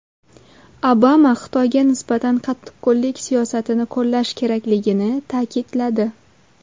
Obama Xitoyga nisbatan qattiqqo‘llik siyosatini qo‘llash kerakligini ta’kidladi.